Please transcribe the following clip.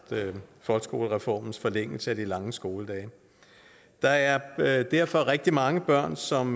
folkeskolereformens forlængelse af de lange skoledage der er derfor rigtig mange børn som